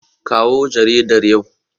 Kawo jaridar yau.